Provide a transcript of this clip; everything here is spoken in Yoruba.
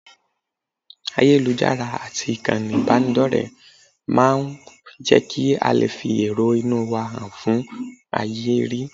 Ayélujára àti ìkànnì ìbánidọ́rẹ̀ẹ́ máa máa ń jẹ́ kí a lè fi èrò inú wa han fún ayé rí